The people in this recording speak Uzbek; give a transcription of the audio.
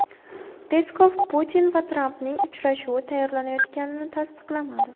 Peskov Putin va Trampning uchrashuvi tayyorlanayotganini tasdiqlamadi.